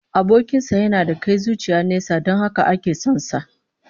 Abokin sa yana da kai zuciya nesa don haka ake son sa